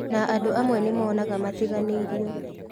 Na andũ amwe nĩ monaga matiganĩirio